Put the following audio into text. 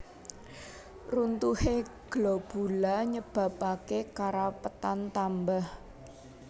Runtuhé globula nyebabaké karapetan tambah